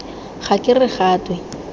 ga ke re ga twe